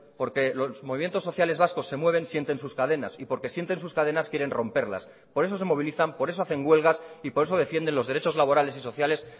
porque los movimientos sociales vascos se mueven sienten sus cadenas y porque sienten sus cadenas quieren romperlas por eso se movilizan por eso hacen huelgas y por eso defienden los derechos laborales y sociales